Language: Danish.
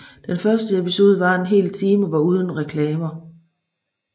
Den første episode varede en hel time og var uden reklamer